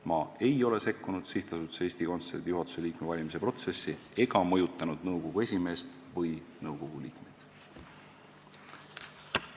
" Ma ei ole sekkunud SA Eesti Kontsert juhatuse liikme valimise protsessi ega mõjutanud nõukogu esimeest või nõukogu liikmeid.